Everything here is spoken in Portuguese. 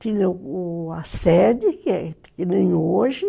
Tinha o a sede, que é que nem hoje.